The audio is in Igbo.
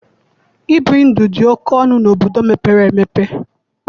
Ibi ndụ dị oke ọnụ n'obodo mepere emepe.